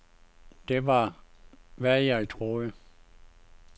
Det var, hvad jeg troede.